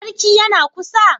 Sarki yana kusa?